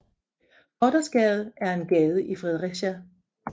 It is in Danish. Gothersgade er en gade i Fredericia